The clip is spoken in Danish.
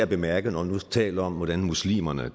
bemærke når vi nu taler om at muslimerne er